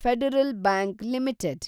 federal bank limited